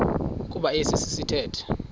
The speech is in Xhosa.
kuba esi sithethe